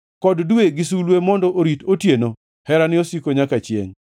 kod dwe gi sulwe mondo orit otieno; Herane osiko nyaka chiengʼ.